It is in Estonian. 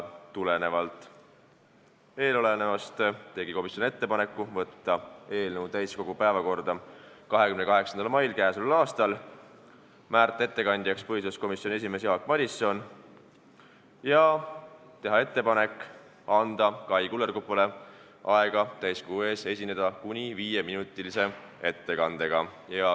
Tulenevalt eelnevast tegi komisjon ettepanekud saata eelnõu täiskogu päevakorda 28. maiks, määrata ettekandjaks põhiseaduskomisjoni esimees Jaak Madison ja anda Kai Kullerkupule aega esineda täiskogu ees kuni viieminutilise ettekandega.